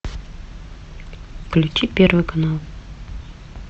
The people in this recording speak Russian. включи первый канал